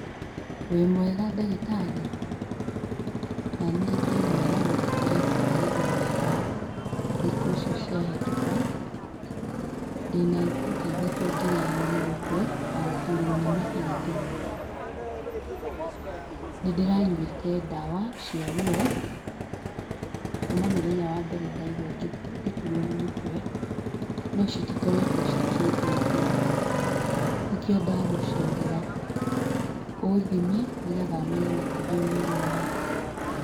Wĩmwega ndagitarĩ? Naniĩ ndĩmwega no ndikoretwo ngĩigua wega thikũ icio ciahĩtũka. Ndĩna thikũ taithatũ ngĩrĩagwo nĩ mũtwe na gũturwo nĩ mahĩndĩ. Nĩndĩranyuĩte ndawa cia ruo, kuma mũthenya wa mbere ndaigua ngĩturwo nĩ mũtwe , nocitikoretwo cikĩndeithia. Nĩkĩo ndagũcerera, ũthime nĩgetha menye nĩkũ ndĩmũrwaru.